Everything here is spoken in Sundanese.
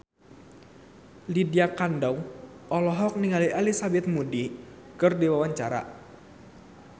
Lydia Kandou olohok ningali Elizabeth Moody keur diwawancara